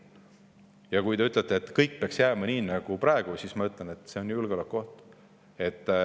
Ja kui te ütlete, et kõik peaks jääma nii nagu praegu, siis mina ütlen, et see on julgeolekuoht.